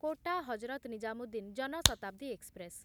quota Hazrat Nizamuddin Jan Shatabdi express